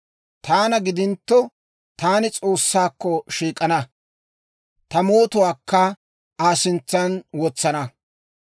«Taana gidintto, taani S'oossaakko shiik'ana; ta mootuwaakka Aa sintsan wotsana.